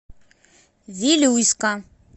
вилюйска